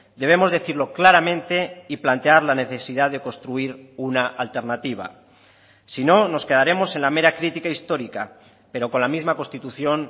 debemos decirlo claramente y plantear la necesidad de construir una alternativa si no nos quedaremos en la mera crítica histórica pero con la misma constitución